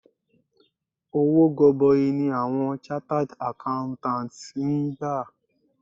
Owó gọbọi ni awọn chartered Accountants ń gbà.